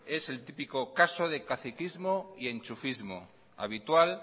es el típico caso de caciquismo y enchufismo habitual